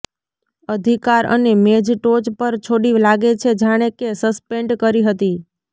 અધિકાર અને મેઝ ટોચ પર છોડી લાગે છે જાણે કે સસ્પેન્ડ કરી હતી